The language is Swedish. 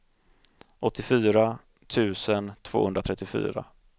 åttiofyra tusen tvåhundratrettiofyra